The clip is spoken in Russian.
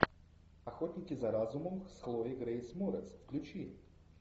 охотники за разумом с хлоей грейс морец включи